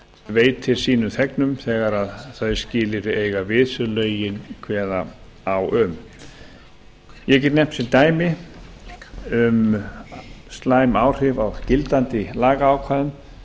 veitir sínum þegar þau skilyrði eiga við sem lögin kveða á um ég get nefnt sem dæmi um slæm áhrif á gildandi lagaákvæðum